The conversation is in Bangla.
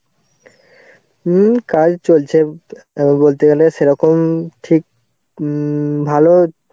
হম কাজ চলছে. বলতে গেলে সেরকম ঠিক উম ভালো